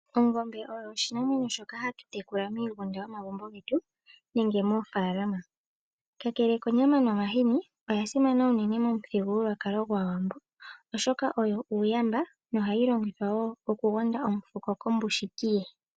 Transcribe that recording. ongombe oyo oshinamwenyo shoka hatu tekula miigunda yomagumbo getu nenge moofaalama. Kakele konyama nomahini, oyasimana unene momu thigululwakalo gwaawambo, oshoka oyo uuyamba noha yi longithwa woo oku gonda omufuko kombushiki ye.